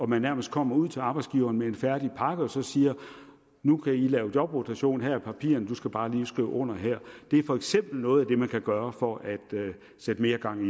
man nærmest kommer ud til arbejdsgiveren med en færdig pakke og siger nu kan i lave jobrotation her er papirerne og du skal bare lige skrive under her det er for eksempel noget af det man kan gøre for at sætte mere gang